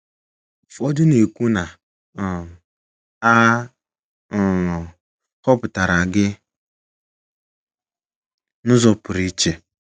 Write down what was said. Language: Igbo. Ụfọdụ na - ekwu na um a um họpụtara gị n’ụzọ pụrụ iche.